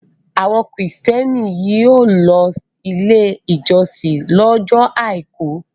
Àwọn Kìrìtẹ́ẹ́nì yóò lọ Ilé-ìjọsìn lọ́jọ́ àìkú.